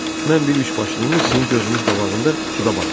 Mən bir üçbaşlını sizin gözünüz qabağında suda batıraram.